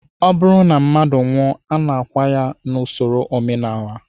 Ọ bụrụ na mmadụ nwụọ, a na-akwa ya n'usoro omenala